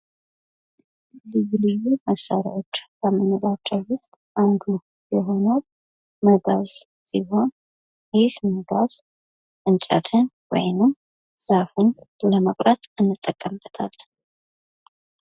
ልዩ ልዩ መሳሪያዎች ከምንላቸው ውስጥ አንዱ የሆነው መጋዝ ሲሆን ይህ መጋዝ እንጨትን ወይም ዛፍን ለመቁረጥ እንጠቀምበታለን።